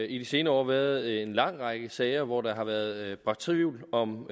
i de senere år været en lang række sager hvor der har været bragt tvivl om